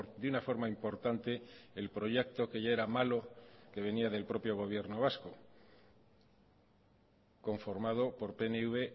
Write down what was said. de una forma importante el proyecto que ya era malo que venía del propio gobierno vasco conformado por pnv